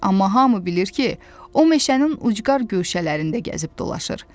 Amma hamı bilir ki, o meşənin ucqar göşələrində gəzib dolaşır.